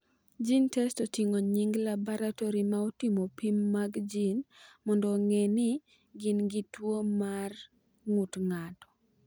GeneTests oting’o nying’ laboratori ma timo pim mag gene mondo ong’e ni gin gi tuwo mar ng’ut ng’ato.